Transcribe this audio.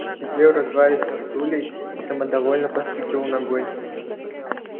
он сидел развалясь на стуле и самодовольно постукивал ногой